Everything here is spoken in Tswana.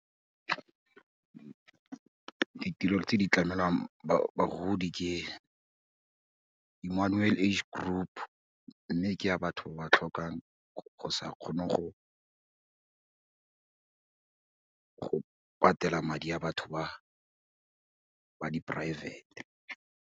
Ditirelo tse di tlamelwang bagodi ke Emmanuel Age Group, mme ke ya batho ba ba tlhokang go sa kgone go go patela madi a batho ba, ba di poraefete.